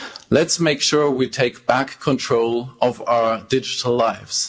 Let's make sure we take back control of our digital lives.